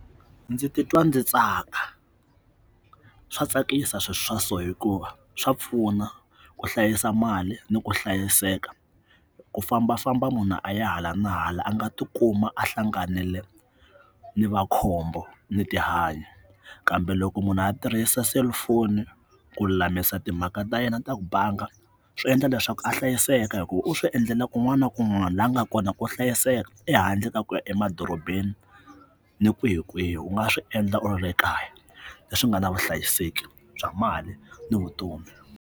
Ndzi titwa ndzi tsaka swa tsakisa swiswa so hikuva swa pfuna ku hlayisa mali ni ku hlayiseka ku fambafamba munhu a ya hala na hala a nga ti kuma a hlanganile ni makhombo ni tihanya kambe loko munhu a tirhisa cellphone ku lulamisa timhaka ta yena ta ku banga swi endla leswaku a hlayiseka hi ku u swi endlela kun'wana kun'wana laha nga kona ku hlayiseka ehandle ka ku ya emadorobeni ni kwihi kwihi u nga swi endla u ri kaya leswi nga na vuhlayiseki bya mali ni vutomi.